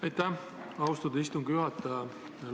Aitäh, austatud istungi juhataja!